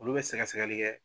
Olu bɛ sɛgɛsɛgɛli kɛ.